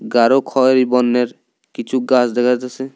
গাঢ় খয়েরি বর্ণের কিছু গাছ দেখা যাসে ।